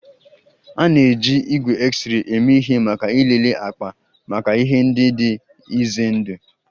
A na-eji igwe X-ray eme ihe maka ịlele akpa maka ihe ndị dị ize ndụ